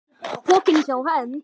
Pokinn hjá Hend